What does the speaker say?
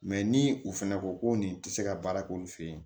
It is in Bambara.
ni u fɛnɛ ko ko nin tɛ se ka baara k'olu fɛ yen